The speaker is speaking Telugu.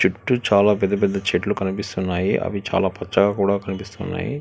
చుట్టూ చాలా పెద్ద పెద్ద చెట్లు కనిపిస్తున్నాయి అవి చాలా పచ్చగా కూడా కనిపిస్తున్నాయి.